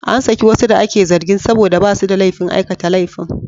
An saki wasu da ake zargin saboda ba su da laifin aikata laifin.